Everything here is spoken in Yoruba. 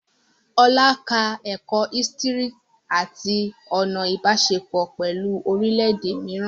Olá ka ẹ̀kọ́ ísítìrì àti ọ̀nà Ìbáṣepọ̀ pẹ̀lú orílẹ̀ èdè mìíràn